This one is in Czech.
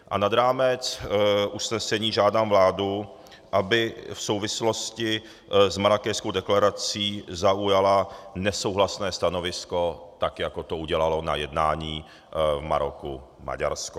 A nad rámec usnesení žádám vládu, aby v souvislosti s Marrákešskou deklarací zaujala nesouhlasné stanovisko, tak jako to udělalo na jednání v Maroku Maďarsko.